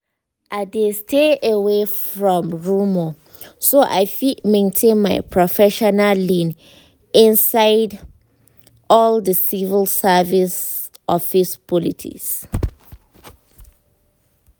i dey stay away from rumour so i fit maintain my professional lane inside all the civil service office politics.